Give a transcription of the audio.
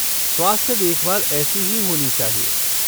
स्वास्थ्य देखभाल ऐसी ही होनी चाहिए।